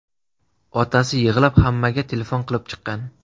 Otasi yig‘lab hammaga telefon qilib chiqqan.